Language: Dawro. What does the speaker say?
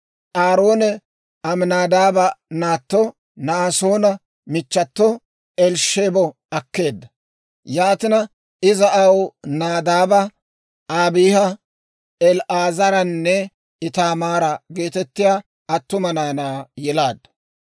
Aaroone Aminaadaaba naatto, Na'aasoona michchato Elisheebo akkeedda. Yaatina iza aw Nadaaba, Abiiha, El"aazaranne Ittaamaara geetettiyaa attuma naanaa yelaaddu.